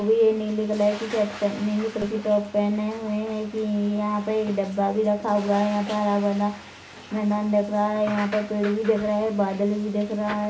होइ ये नीली कलर की शर्ट पहनी नीली कलर टॉप पहने हुए है कि यहाँ पे एक डिब्बा भी रखा हुआ है यहाँ पर हरा-भरा मैदान दिख रहा है यहाँ पे पेड़ भी दिख रहे बादल भी दिख रहा है।